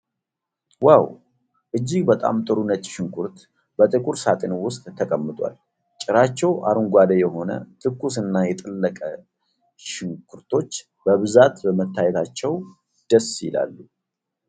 ዋዉ! እጅግ በጣም ጥሩ ነጭ ሽንኩርት በጥቁር ሳጥን ውስጥ ተቀምጧል። ጭራቸው አረንጓዴ የሆነ፣ ትኩስ እና የጠለቀ ሽንኩርቶች በብዛት በመታየታቸው ደስ ይላሉ።